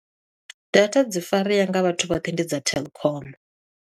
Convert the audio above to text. Data dzi farea nga vhathu vhoṱhe ndi dza Telkom.